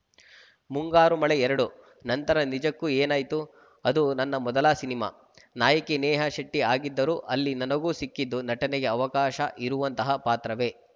ಮುಂಗಾರು ಮಳೆ ಎರಡು ನಂತರ ನಿಜಕ್ಕೂ ಏನಾಯ್ತು ಅದು ನನ್ನ ಮೊದಲ ಸಿನಿಮಾ ನಾಯಕಿ ನೇಹಾ ಶೆಟ್ಟಿಆಗಿದ್ದರೂ ಅಲ್ಲಿ ನನಗೂ ಸಿಕ್ಕಿದ್ದು ನಟನೆಗೆ ಅವಕಾಶ ಇರುವಂತಹ ಪಾತ್ರವೇ